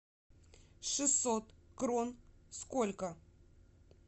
шестьсот крон сколько